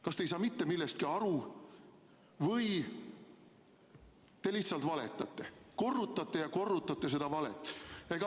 Kas te ei saa mitte millestki aru või te lihtsalt valetate, korrutate ja korrutate seda valet?